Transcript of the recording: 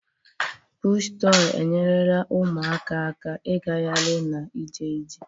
Pụshụ tọị enyerela ụmụaka aka na igahari na ije ije.